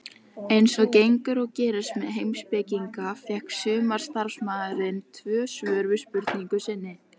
Eins og gengur og gerist með heimspekinga fékk sumarstarfsmaðurinn tvö svör við spurningu sinni.